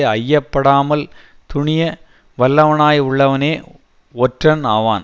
ஐயப்படாமல் துணிய வல்லவனாய் உள்ளவனே ஒற்றன் ஆவான்